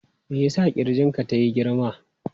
Me ya sa ƙirjin ka tayi girma?